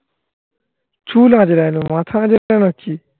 চুল আজড়ানো. মাথা আজড়ানো. নাকি?